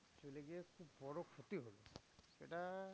চলে গিয়ে খুব বড় ক্ষতি হলো। সেটা